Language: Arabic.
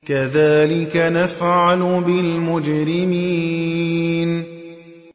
كَذَٰلِكَ نَفْعَلُ بِالْمُجْرِمِينَ